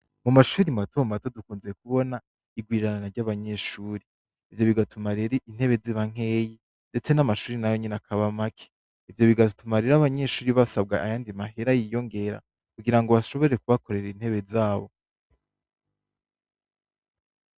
Mumashure matomato dukunze kubona irwirirana ryabanyeshure ivyo bigatuma rero intebe ziba nkeyi ndetse namashure nayonyene akaba make ivyo bigatuma rero abanyeshure basabwa ayandi mahera yiyongera kugira ngobashobore kubakorera intebe zabo